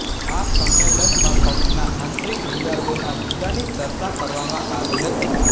આ સંમેલનમાં પક્ષના આંતરિક વિવાદોના મુદ્દાની ચર્ચા કરવામાં આવી હતી